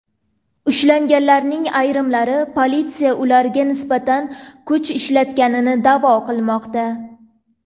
Ushlanganlarning ayrimlari politsiya ularga nisbatan kuch ishlatganini da’vo qilmoqda.